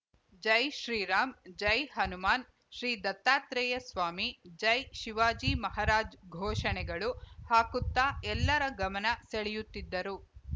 ಜೈ ಶ್ರೀರಾಮ್‌ ಜೈ ಹನುಮಾನ್‌ ಶ್ರೀ ದತ್ತಾತ್ರೇಯ ಸ್ವಾಮಿ ಜೈ ಶಿವಾಜಿ ಮಹಾರಾಜ್‌ ಘೋಷಣೆಗಳು ಹಾಕುತ್ತಾ ಎಲ್ಲರ ಗಮನ ಸೆಳೆಯುತ್ತಿದ್ದರು